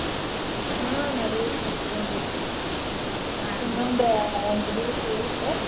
ಹಾ ನಡದೇತ್ ನೋಡ್ರಿ ಎಂಟ ದಿವ್ಸ್ ಉಳಿತ.